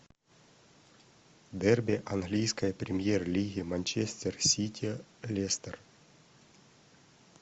дерби английской премьер лиги манчестер сити лестер